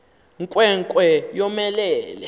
nkwe nkwe yomelele